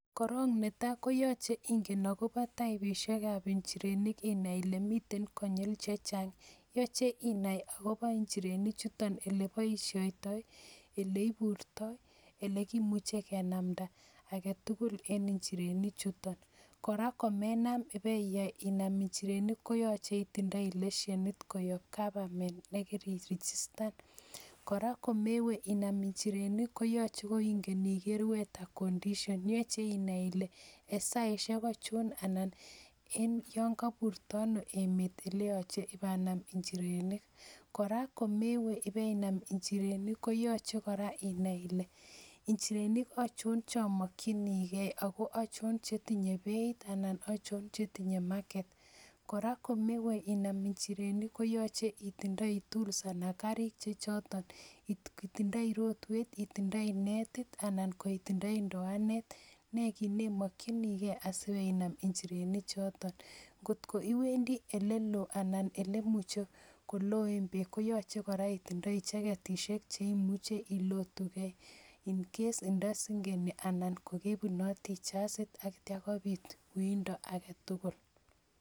Korong netaa koyoche ing'en akobo taibishekab nchirenik inai ile miten konyil chechang, yoche inaii akobo nchireni chutok eleboishoitoi, eleiburto, elekimuche kenamnda aketukul en inchirinenichuton, kora komenam iyae inam inchirenik koyoche itindoi leshenit koyob gavamen nekiirigistan, kora komewe inam inchirenik koyoche koing'en iker wheather condition, yoche inaii ilee en saishek ochon anan en yoon koburto anoo emet eleyoche ibanam inchirenik, kora komewe ibee Inam inchirenik koyoche kora inai ilee inchirenik achon chomokyinike ako achon chetinye belt anan achon chetinye market, kora komewe inam inchirenik koyoche itindoi tools anan karik chechoton itindoi rotwet, itindoi netit anan ko itindoi ndoanet, nee kiit nemokyinikee asibenam inchireni choton, kot ko iwendi eleloo anan eleimuche koloen beek koyoche kora itindoi cheketishek cheimuche ilotuke incase indosing'eni anan kokebunoti jasit akityo kobiit uindo aketukul.